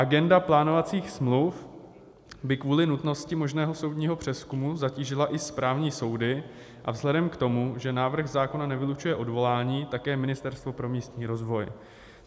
Agenda plánovacích smluv by kvůli nutnosti možného soudního přezkumu zatížila i správní soudy a vzhledem k tomu, že návrh zákona nevylučuje odvolání, také Ministerstvo pro místní rozvoj.